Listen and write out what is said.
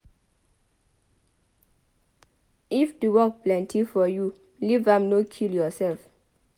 If the work plenty for you leave am no kill yourself.